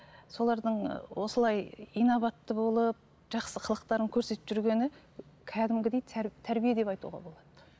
солардың ы осылай инабатты болып жақсы қылықтарын көрсетіп жүргені кәдімгідей тәрбие деп айтуға болады